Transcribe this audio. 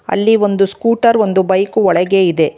ಅಲ್ಲಿ ಒಂದು ಸ್ಕುಟರ ಒಂದು ಬೈಕು ಒಳಗೆ ಇದೆ.